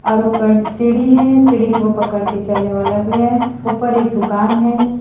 और ऊपर सीढ़ी है सीढ़ी को पकड़ के चलने वाला भी है ऊपर एक दुकान है।